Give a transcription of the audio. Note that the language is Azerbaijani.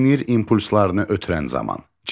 Sinir impulslarını ötürən zaman çevrilir.